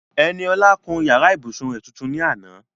Eniola kun yàrá ìbùsùn rẹ̀ tuntun ní àná.